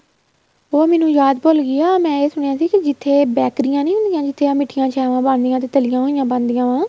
ਉਹ ਮੈਨੂੰ ਯਾਦ ਭੁੱਲਗੀ ਆ ਮੈਂ ਏ ਸੁਣਿਆ ਸੀ ਜਿੱਥੇ ਬੈਕਰੀਆਂ ਨਹੀਂ ਹੁੰਦੀਆਂ ਜਿੱਥੇ ਆ ਮਿੱਠੀਆਂ ਚਾਵਾਂ ਬਣਦੀਆਂ ਤੇ ਤੱਲੀਆਂ ਹੋਈਆ ਬਣਦੀਆਂ ਵਾ